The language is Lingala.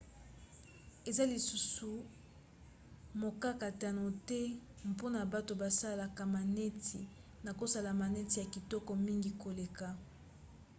eza lisusu mokakatano te mpona bato basalaka maneti na kosala maneti ya kitoko mingi koleka